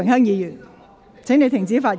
如否，我請你停止發言。